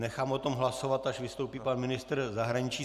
Nechám o tom hlasovat, až vystoupí pan ministr zahraničí.